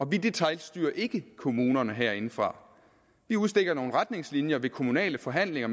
vi detailstyrer ikke kommunerne herindefra vi udstikker nogle retningslinjer ved kommunale forhandlinger